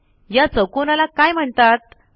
या चौकोनाला काय म्हणतात160